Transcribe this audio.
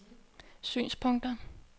synspunkter